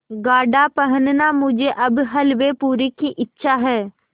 गाढ़ा पहनना मुझे अब हल्वेपूरी की इच्छा है